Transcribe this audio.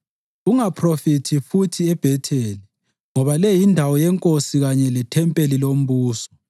Ungaphrofithi futhi eBhetheli, ngoba le yindawo yenkosi kanye lethempeli lombuso.”